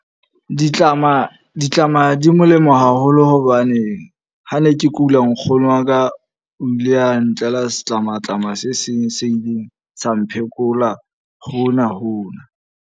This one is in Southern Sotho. Ditlama, ditlama di molemo haholo hobane ha ne ke kula nkgono wa ka o ile a ntlela setlamatlama se seng se ileng sa mo phekola hona hona.